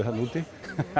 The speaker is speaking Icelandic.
þarna úti